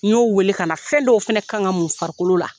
N y'o wele ka na fɛn dɔw fana ka kan ka mun farikolo la.